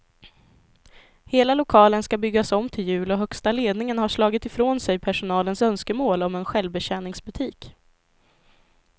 Hela lokalen ska byggas om till jul och högsta ledningen har slagit ifrån sig personalens önskemål om en självbetjäningsbutik.